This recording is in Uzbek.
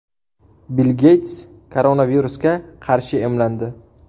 Bill Geyts koronavirusga qarshi emlandi.